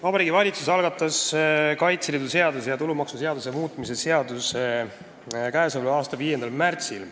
Vabariigi Valitsus algatas Kaitseliidu seaduse ja tulumaksuseaduse muutmise seaduse eelnõu k.a 5. märtsil.